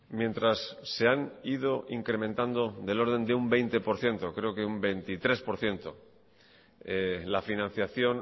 mientras se han ido incrementando del orden de un veinte por ciento creo que un veintitrés por ciento la financiación